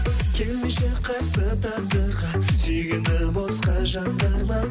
келмеші қарсы тағдырға сүйгенді босқа жандырма